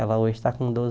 Ela hoje está com doze